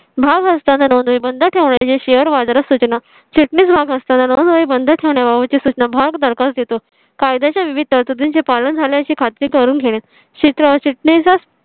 भाव असताना नोंदणी बंद ठेवण्या च्या share बाजारात सूचना चिटणीस भाग असताना नोंद बंद ठेवण्या बाबत ची सूचना भागधारक देतो कायद्याचे विविध तरतुदीचे पालन झाल्या ची. खात्री करून घेणे चिटणीस